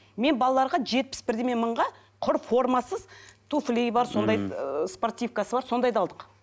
мен балаларға жетпіс бірдеме мыңға құр формасыз туфлиі бар сондай ыыы спортивкасы бар сондайды алдық